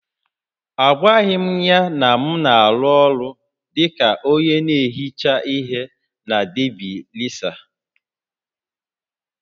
Agwaghị m ya na m na-arụ ọrụ dị ka onye na-ehicha ihe na Debi resa